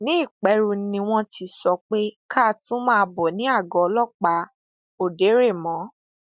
ní ìpẹrù ni wọn ti sọ pé ká tún máa bọ ní àgọ ọlọpàá òderémó